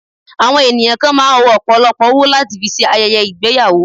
Àwọn ènìyàn kan máà ń o ọ̀pọ̀lọpọ̀ owó láti fi ṣe ayẹyẹ ìgbéyàwó.